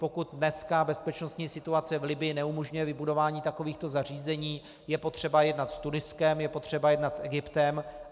Pokud dneska bezpečnostní situace v Libyi neumožňuje vybudování takovýchto zařízení, je potřeba jednat s Tuniskem, je potřeba jednat s Egyptem.